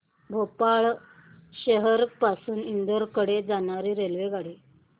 भोपाळ शहर पासून इंदूर कडे जाणारी रेल्वेगाडी